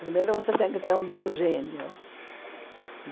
Primeiro você tem que ter um bom gênio.